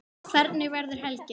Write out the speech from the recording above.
Hvernig verður helgin?